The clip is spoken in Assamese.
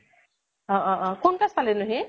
অ অ অ কোন class পালে নো হি?